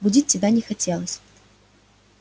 будить тебя не хотелось